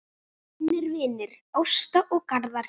Þínir vinir, Ásta og Garðar.